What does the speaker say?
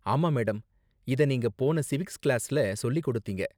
ஆமா, மேடம். இத நீங்க போன சிவிக்ஸ் கிளாஸ்ல சொல்லி கொடுத்தீங்க.